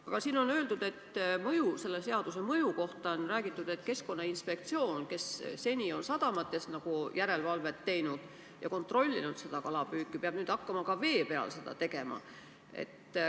Aga selle seaduse mõju kohta on räägitud, et Keskkonnainspektsioon, kes seni on sadamates järelevalvet teinud ja kalapüüki kontrollinud, peab nüüd hakkama ka vee peal seda tegema.